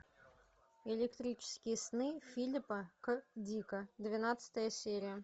электрические сны филипа кэ дика двенадцатая серия